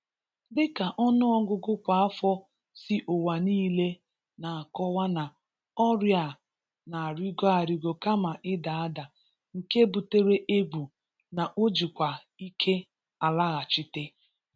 Dịka ọnụọgụgụ kwa afọ si ụwa niile n'akọwa na ọrịa a n'arigo arigo kama ịda ada, nke butere egwu na o jikwa ike alaghachite.